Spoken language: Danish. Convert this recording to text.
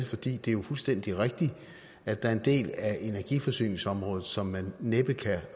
fordi det er fuldstændig rigtigt at der er en del af energiforsyningsområdet som man næppe kan